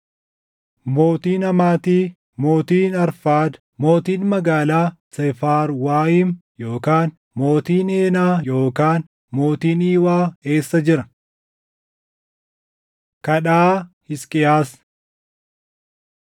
Mootiin Hamaati, mootiin Arfaad, mootiin magaalaa Seefarwaayim yookaan mootiin Heenaa yookaan mootiin Iwaa eessa jira?” Kadhaa Hisqiyaas 19:14‑19 kwf – Isa 37:14‑20